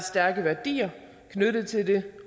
stærke værdier knyttet til det